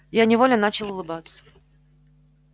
я невольно начал улыбаться